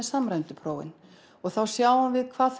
samræmdu prófin þá sjáum við hvað